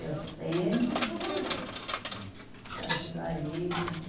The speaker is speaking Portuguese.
Eu sempre trabalhava para ajudar ele, né?